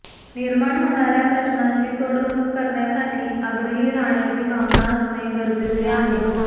निर्माण होणार्या प्रश्नांची सोडवणूक करण्यासाठी आग्रही राहण्याची भावना असणे गरजेचे आहे